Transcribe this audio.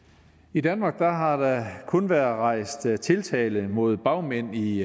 i danmark har der kun været rejst tiltale mod bagmænd i